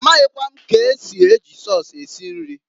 Amaghịkwa m k'esi eji sọs esi nri.